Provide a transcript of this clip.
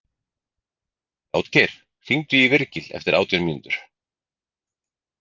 Játgeir, hringdu í Virgil eftir átján mínútur.